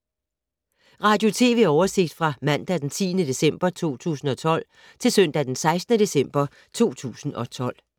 Radio/TV oversigt fra mandag d. 10. december 2012 til søndag d. 16. december 2012